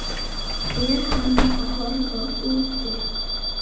Er hann að horfa út?